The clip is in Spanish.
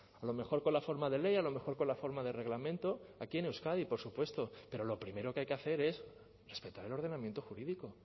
a lo mejor con la forma de ley a lo mejor con la forma de reglamento aquí en euskadi por supuesto pero lo primero que hay que hacer es respetar el ordenamiento jurídico